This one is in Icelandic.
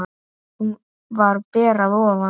Hún var ber að ofan.